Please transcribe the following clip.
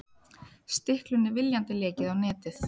Stiklunni viljandi lekið á netið